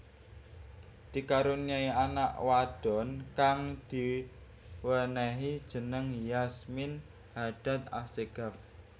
Dikaruniai anak wadon kang diwenehi jeneng Yasmin Hadad Assegaf